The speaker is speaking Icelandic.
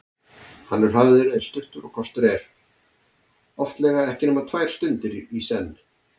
Hann er hafður eins stuttur og kostur er, oftlega ekki nema tvær stundir í senn.